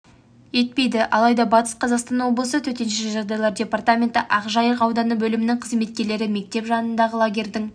облыс су айдындарындағы қаза болғандар санының артуына байланысты өзендер мен айдындардағы негізгі ережелерді еске салу артық